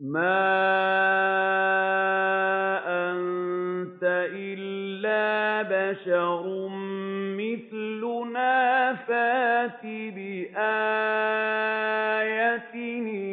مَا أَنتَ إِلَّا بَشَرٌ مِّثْلُنَا فَأْتِ بِآيَةٍ إِن